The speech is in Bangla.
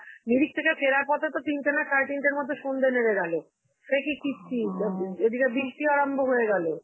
মিরিক থেকে ফেরার পথে তো তিনটে না সারে তিনটের মধ্যে সন্ধ্যে নেমে গেলো. সে কি কীর্তি এদিকে বৃষ্টি আরম্ভ হয়ে গেলো.